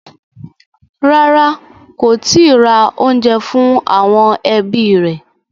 Rárá, kò tíì ra oúnjẹ fún àwọn ẹbí rẹ̀.